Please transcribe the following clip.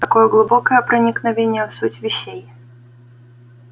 какое глубокое проникновение в суть вещей